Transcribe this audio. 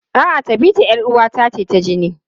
A'a, Tabita 'yar uwata ce ta jini.